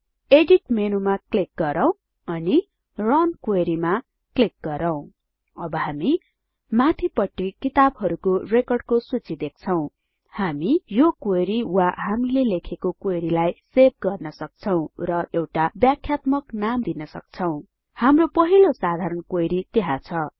edit मेनूमा click गरौँ अनि रुन क्वेरी मा क्लिक गरौँ हामी यो क्वेरी वा हामीले लेखेको क्वेरी लाई सेभ गर्न सक्छौं र एउटा व्याख्यात्मक नाम दिन सक्छौं हाम्रो पहिलो साधारण क्वेरी त्यहाँ छ